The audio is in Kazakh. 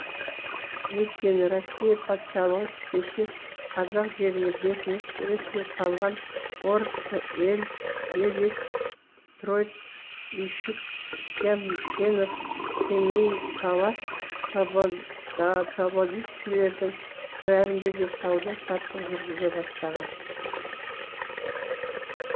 өйткені россия патшалығы кеше қазақ жеріне бекініс ретінде салған орск елецк троицк үйшік ямшенев семейпалат тобольскілердің бәрінде де сауда саттық жүргізе бастаған